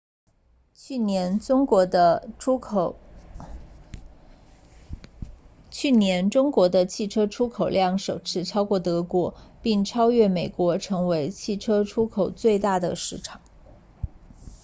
去年中国的汽车出口量首次超过德国并超越美国成为汽车出口最大的市场